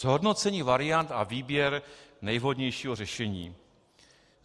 Zhodnocení variant a výběr nejvhodnějšího řešení.